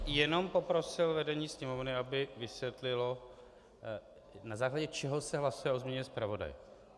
Já bych jenom poprosil vedení Sněmovny, aby vysvětlilo, na základě čeho se hlasuje o změně zpravodaje.